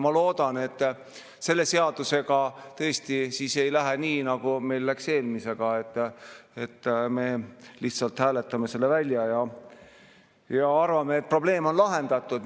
Ma loodan, et selle seadusega tõesti ei lähe nii, nagu meil läks eelmisega: et me lihtsalt hääletame selle välja ja arvame, et probleem on lahendatud.